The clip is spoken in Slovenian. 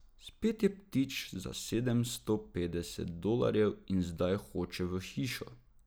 Spet je ptič za sedemsto petdeset dolarjev in zdaj hoče v hišo.